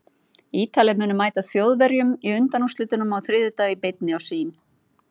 Ítalir munu mæta Þjóðverjum í undanúrslitunum á þriðjudag í beinni á Sýn.